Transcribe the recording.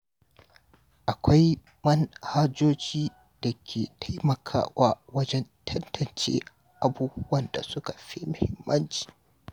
Akwai manhajojin da ke taimakawa wajen tantance abubuwan da suka fi muhimmanci.